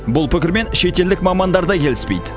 бұл пікірмен шетелдік мамандар да келіспейді